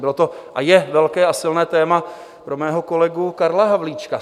Bylo to a je velké a silné téma pro mého kolegu Karla Havlíčka.